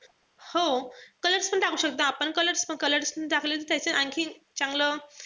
हो colors पण टाकू शकता आपण. Colors colors टाकले त त्याच्याने आणखीन चांगलं,